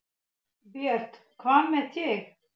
Björn: Hvað með þig?